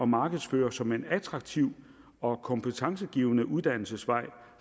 markedsføre som en attraktiv og kompetencegivende uddannelsesvej